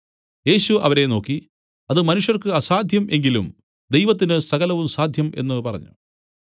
യേശു അവരെ നോക്കി അത് മനുഷ്യർക്ക് അസാദ്ധ്യം എങ്കിലും ദൈവത്തിന് സകലവും സാദ്ധ്യം എന്നു പറഞ്ഞു